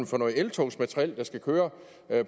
for noget eltogsmateriel der skal køre